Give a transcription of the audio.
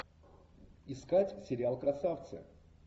искать сериал красавцы